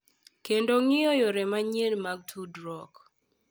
Kendo ng’i yore manyien mag tudruok.